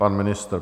Pan ministr.